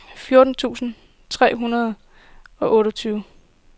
fjorten tusind tre hundrede og otteogtyve